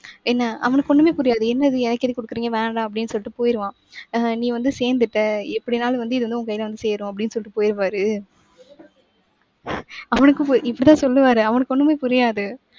என்ன அவனுக்கு ஒண்ணுமே புரியாது. என்னது எனக்கெதுக்கு கொடுக்குறீங்க? வேணாம் அப்படின்னு சொல்லிட்டு போயிருவான். ஆஹ் நீ வந்து சேர்ந்துட்ட எப்படின்னாலும் வந்து இது வந்து உன் கையில வந்து சேரும் அப்படின்னு சொல்லிட்டு போயிருவாரு. அவனுக்கு போ~ இப்படிதான் சொல்லுவாரு. அவனுக்கு ஒண்ணுமே புரியாது.